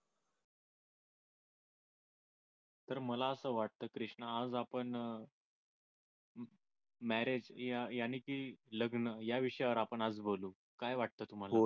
तर मला असं वाटत कृष्णा आज आपण marriage याने की लग्न या विषयावर आपण आज बोलू काय वाटत तुम्हाला